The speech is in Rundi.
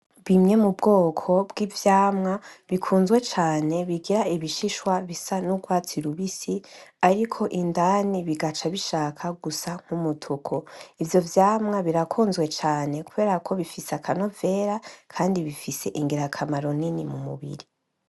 Bimwe mu bwoko bw'ivyamwa bikunzwe cane bigira ibishishwa bisa n'urwatsi rubisi, ariko indani bikagaca bishaka gusa nk'umutuku. Ivyo vyamwa birakunzwe cane kubera ko bifise akanovera kandi bifise ingirakamaro nini mu mubiri.